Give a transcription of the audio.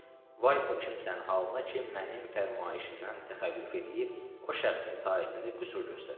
Vay o kimsən halına ki, mənim fərmayişimdən təxəllüf eləyib, o şəxsin itaətində qüsur göstərə.